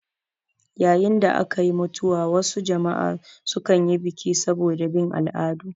Yayin da akayi mutuwa wasu jama'a su kanyi biki saboda bin al'adu